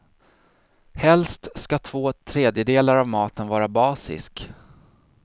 Helst ska två tredjedelar av maten vara basisk.